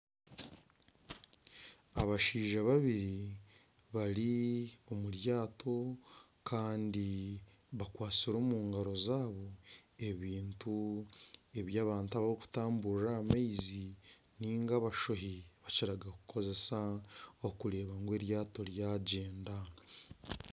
Abashaija babiri bari omu ryato Kandi bakwatsire omungaro zaabo ebintu eby'abantu abarikutamburira aha maizi ninga abashohi bakiraga kukozesa kureeba ngu eryaato rya gyenda.